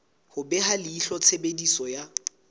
ho beha leihlo tshebediso ya